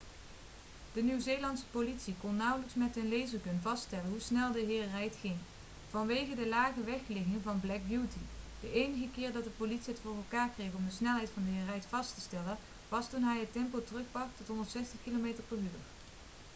de nieuw-zeelandse politie kon nauwelijks met hun lasergun vaststellen hoe snel de heer reid ging vanwege de lage wegligging van black beauty. de enige keer dat de politie het voor elkaar kreeg om de snelheid van de heer reid vast te stellen was toen hij het tempo terugbracht tot 160 km/u